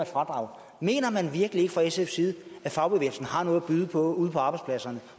fradrag mener man virkelig ikke fra sfs side at fagbevægelsen har noget at byde på ude på arbejdspladserne